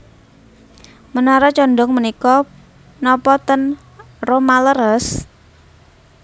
Menara condong menika nopo ten Roma leres?